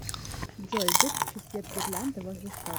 джой выключи свет гирлянды возле штор